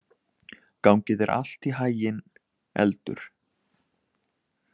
Gangi þér allt í haginn, Eldur.